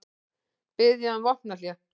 Biðja um vopnahlé